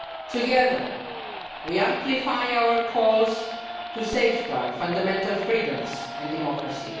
Together we amplify our calls to safeguard fundamental freedoms and democracy.